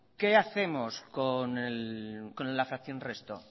qué hacemos con la fracción resto